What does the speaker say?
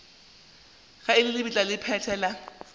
ga lebitla la go phethela